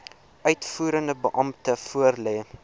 uitvoerende beampte voorlê